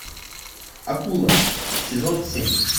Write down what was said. акула сезон семь